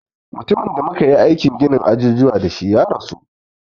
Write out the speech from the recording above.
Mutumin da muka yi aikin ginin ajujuwa da shi ya rasu